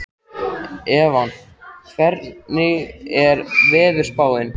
Evan, hvernig er veðurspáin?